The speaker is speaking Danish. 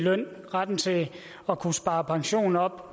i løn retten til at kunne spare pension op og